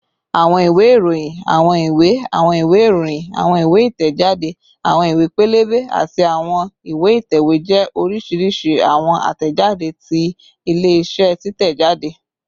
Awọn iwe iroyin, awọn iwe, awọn iwe iroyin, awọn iwe itẹjade, awọn iwe pẹlẹbẹ, ati awọn iwe itẹwe jẹ oriṣiriṣi awọn atẹjade ti ile-iṣẹ titẹjade